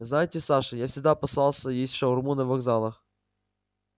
знаете саша я всегда опасался есть шаурму на вокзалах